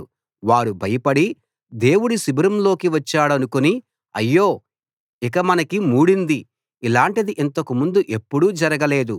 వారు భయపడి దేవుడు శిబిరంలోకి వచ్చాడనుకుని అయ్యో ఇక మనకి మూడింది ఇలాంటిది ఇంతకుముందు ఎప్పుడూ జరగలేదు